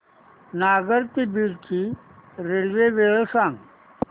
नगर ते बीड ची रेल्वे वेळ सांगा